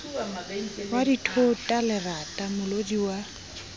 wa dithota lerata molodi wa